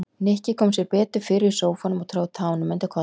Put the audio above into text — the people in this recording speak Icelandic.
Nikki kom sér betur fyrir í sófanum og tróð tánum undir koddann.